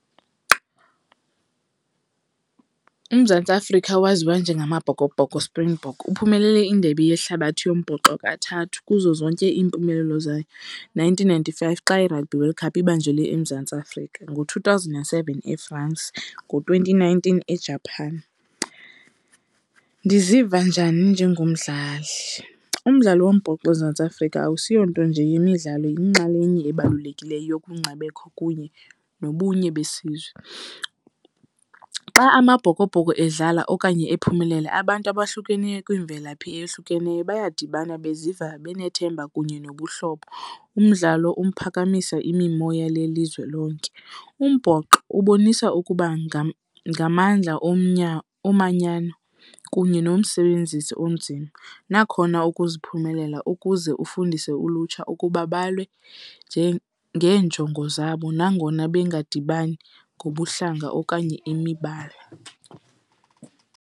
UMzantsi Afrika waziwa njengamaBhokoBhoko, Springbok. Uphumelele indebe yehlabathi yombhoxo kathathu, kuzo zonke iimpumelelo zayo, nineteen ninety-five xa iRugby World Cup ibanjelwe eMzantsi Afrika, ngo-two thousand and seven eFrance, ngo-twenty nineteen eJapan. Ndiziva njani njengomdlali? Umdlalo wombhoxo eMzantsi Afrika awusiyonto nje yemidlalo, yinxalenye ebalulekileyo yobungcabekho kunye nobunye besizwe. Xa amaBhokoBhoko edlala okanye ephumelela abantu abahlukeneyo kwiimvelaphi eyohlukeneyo bayadibana beziva benethemba kunye nobuhlobo, umdlalo uphakamisa imimoya lelizwe lonke. Umbhoxo ubonisa ukuba ngamandla omanyano kunye nomsebenzisi onzima nakhona ukuziphumelela ukuze ufundise ulutsha ukuba balwe ngeenjongo zabo nangona bengadibani ngobuhlanga okanye imibala.